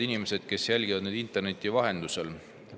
Head inimesed, kes meid jälgivad interneti vahendusel!